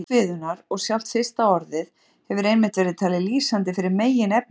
Upphaf kviðunnar og sjálft fyrsta orðið hefur einmitt verið talið lýsandi fyrir meginefni hennar.